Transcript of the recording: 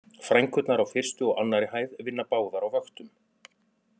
Frænkurnar á fyrstu og annarri hæð vinna báðar á vöktum